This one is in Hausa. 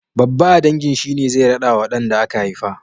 Babba a dangin shine zai raɗawa ɗan da aka haifa.